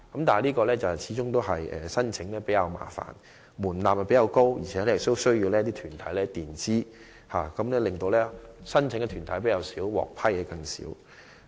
但是，申請程序始終較為麻煩，門檻較高，又要申請團體先行墊支款項，以致申請團體較少，獲批項目則更少。